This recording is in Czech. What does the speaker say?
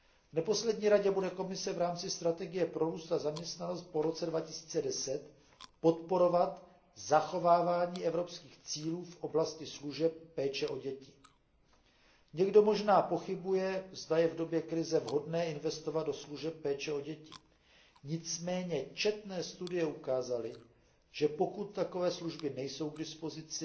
V neposlední řadě bude Komise v rámci strategie pro růst a zaměstnanost po roce 2010 podporovat zachovávání evropských cílů v oblasti služeb péče o děti. Někdo možná pochybuje, zda je v době krize vhodné investovat do služeb péče o děti. Nicméně četné studie ukázaly, že pokud takové služby nejsou k dispozici,